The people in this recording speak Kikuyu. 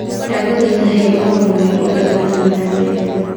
Ndagũthaitha he ũhoro mwerũ ũrĩa ũrathiĩ na mbere